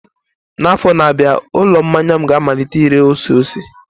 N'afọ na-abịa, ụlọ mmanya m ga-amalite ire ose ose.